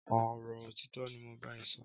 Ọrọ ọtitọ ni mó n bà ẹ̀ sọ